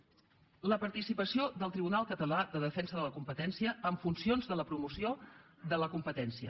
la participació del tribunal català de defensa de la competència amb funcions de la promoció de la competència